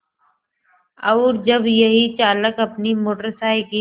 और जब यही चालक अपनी मोटर साइकिल